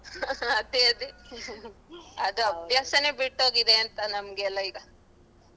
ಅದೆ ಅದೆ ಅದು ಅಭ್ಯಾಸನೆ ಬಿಟ್ಟಹೋಗಿದೆ ಅಂತ ನಮ್ಗೆಲ್ಲಾ ಈಗ.